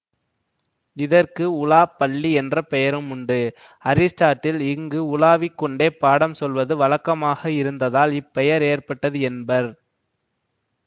இதற்கு உலாப் பள்ளி என்ற பெயரும் உண்டு அரிஸ்டாட்டில் இங்கு உலாவிக் கொண்டே பாடம் சொல்வது வழக்கமாக இருந்ததால் இப்பெயர் ஏற்பட்டது என்பர்